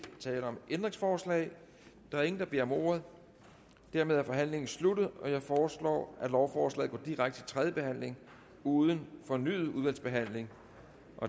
tale om ændringsforslag der er ingen der beder om ordet dermed er forhandlingen sluttet jeg foreslår at lovforslaget går direkte til tredje behandling uden fornyet udvalgsbehandling